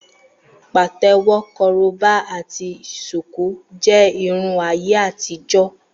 Pàtẹ́wọ́, korobá ati ṣùkú jẹ́ Irun ayé àtijọ́.